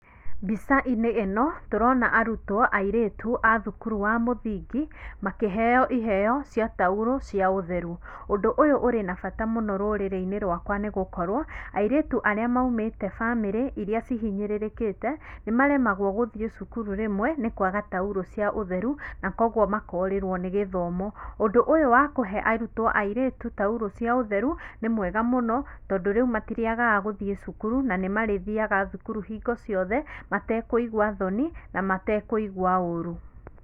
Mbica-inĩ ĩno tũrona arutwo airĩtu a thukuru wa mũthingi makĩheo iheo cia taurũ cia ũtheru. Ũndũ ũyũ ũrĩ na bata mũno rũrĩrĩ-inĩ rwakwa nĩ gũkorwo, airĩtu arĩa maumĩte bamĩrĩ iria ihinyĩrĩrĩkĩte, nĩ maremagwo gũthiĩ cukuru rĩmwe nĩ kwaga taurũ cia ũtheru na koguo makorĩrwo nĩ gĩthomo. Ũndũ ũyũ wa kũhe arutwo airĩtu taurũ cia ũtheru nĩ mwega mũno, tondũ rĩu matirĩagaga gũthiĩ cukuru na nĩ marĩthiaga thukuru hingo ciothe, matekũigua thoni na matekũigua ũru.